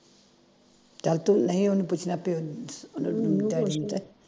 ਚੱਲ ਤੂੰ ਨਹੀ ਉਹਨੂੰ ਪੁੱਛਣਾ ਪਿਓ ਨੂੰ ਉਹਨੂੰ ਡੈਡੀ ਨੂੰ ਕਹਿ ਮੈਨੂੰ